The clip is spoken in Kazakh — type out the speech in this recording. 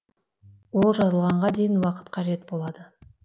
ол жазылғанға дейін уақыт қажет болады